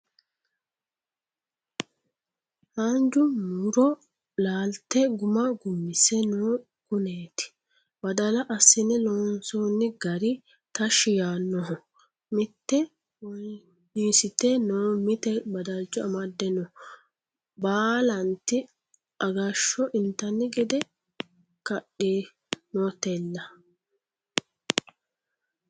Haanja muro laalte guma gumise no kuneti, badala assine loonsonni gari tashi yaanoho mite wonisite no mite badalcho amade no baallati agasho intanni gede kadinotella.